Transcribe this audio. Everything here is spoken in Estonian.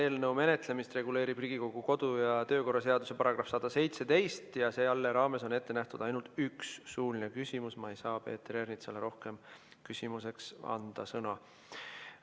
Selle eelnõu menetlemist reguleerib Riigikogu kodu- ja töökorra seaduse § 117 ja selle raames on ette nähtud ainult üks suuline küsimus, nii et ma ei saa Peeter Ernitsale küsimuseks rohkem sõna anda.